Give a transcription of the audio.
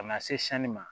Ka na se sanni ma